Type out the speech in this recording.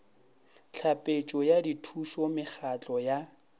tlhapetšo ya dithušo mekgatlo ya